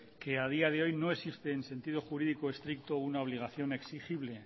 que a día de hoy no existe en sentido jurídico estricto una obligación exigible